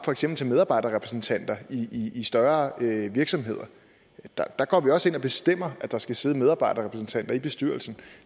for eksempel medarbejderrepræsentanter i i større virksomheder der går vi også ind og bestemmer at der skal sidde medarbejderrepræsentanter i bestyrelsen